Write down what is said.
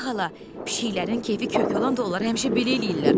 Poly xala, pişiklərinin kefi kök olanda onlar həmişə belə eləyirlər.